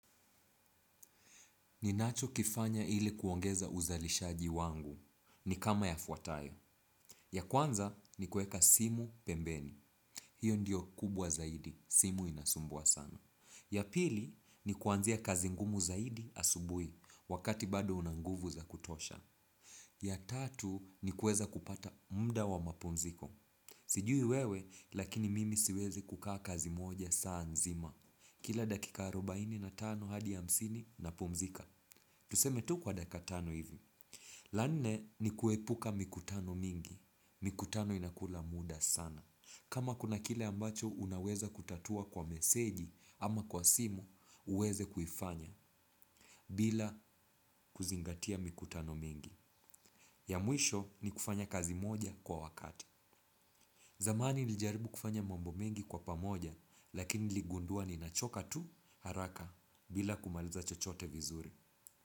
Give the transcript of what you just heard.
Ninacho kifanya hili kuongeza uzalishaji wangu. Ni kama yafuatayo. Ya kwanza ni kuweka simu pembeni. Hio ndio kubwa zaidi. Simu inasumbuwa sana. Ya pili ni kuanzia kazi ngumu zaidi asubui wakati bado una nguvu za kutosha. Ya tatu ni kuweza kupata muda wa mapumziko. Sijui wewe lakini mimi siwezi kukaa kazi moja saa nzima. Kila dakika arubaini na tano hadi hamsini napumzika. Tuseme tu kwa dakika tano hivi. La nne ni kuepuka mikutano mingi. Mikutano inakula muda sana. Kama kuna kile ambacho unaweza kutatua kwa meseji ama kwa simu uweze kuifanya bila kuzingatia mikutano mingi. Ya mwisho ni kufanya kazi moja kwa wakati. Zamani nilijaribu kufanya mambo mingi kwa pamoja lakini niligundua ninachoka tu haraka bila kumaliza chochote vizuri.